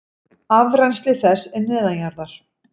Afrennsli þess er neðanjarðar.